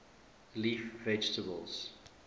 leaf vegetables